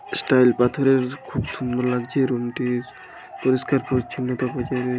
style পাথরের খুব সুন্দর লাগছে রুমটির -টির পরিষ্কার পরিচ্ছন্নতা বজায় রাখ --